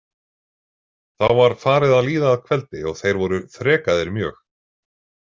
Þá var farið að líða að kveldi og þeir voru þrekaðir mjög.